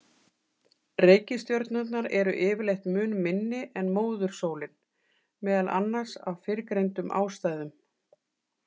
Reikistjörnurnar eru yfirleitt mun minni en móðursólin, meðal annars af fyrrgreindum ástæðum.